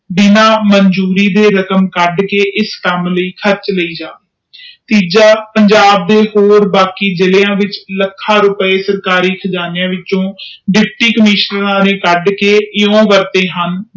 ਹਨ ਮਨਸੂਬੇ ਦੇ ਰਕਮ ਕੱਟ ਕੇ ਇਸ ਕਾਮ ਲਾਇ ਖਰਚ ਕਰਿ ਜਾਵੇ ਤੀਜਾ ਪੰਜਾਬ ਦੇ ਹੋਰ ਬਾਕੀ ਜਿਲਿਆਂ ਵਿਚ ਲੱਖਾਂ ਰੁਪਿਆ ਸਰਕਾਰੀ ਖਜਾਨਿਆਂ ਛਪ ਕੱਢ ਕੇ ਦੁਪਟੀ ਕੋਮਿਸ਼ਨਊਰ ਕੱਢ ਕ ਕਿਉ ਵਰਤੇ ਹਨ